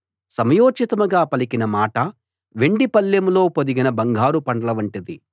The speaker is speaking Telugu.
సమయోచితంగా పలికిన మాట వెండి పళ్ళెంలో పొదిగిన బంగారు పండ్ల వంటిది